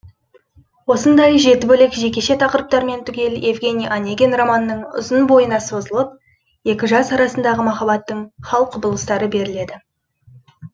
осындай жеті бөлек жекеше тақырыптармен түгел евгении онегин романының ұзын бойына созылып екі жас арасындағы махаббаттың хал құбылыстары беріледі